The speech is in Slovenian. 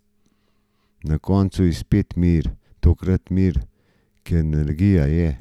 Na koncu je spet mir, tokrat mir, ker energija je.